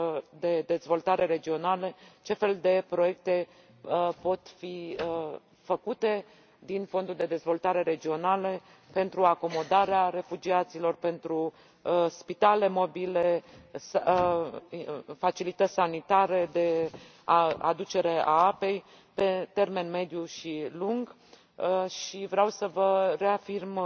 de dezvoltare regională, ce fel de proiecte pot fi făcute din fondurile de dezvoltare regională pentru acomodarea refugiaților, pentru spitale mobile, facilități sanitare, de aducere a apei, pe termen mediu și lung, și vreau să vă reafirm